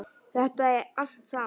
Þetta allt saman.